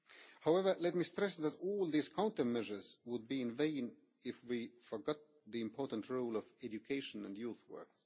However, let me stress that all these countermeasures will be in vain if we forget the important role of education and youth work.